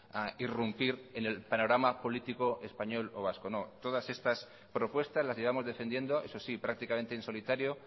a irrumpir en el panorama político español o vasco no todas estas propuestas las llevamos defendiendo eso sí prácticamente en solitario